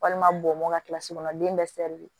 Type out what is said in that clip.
Walima bomɔn ka kilasi kɔnɔ den